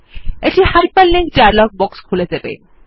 এটি hyperlink dialog box খুলে দেবে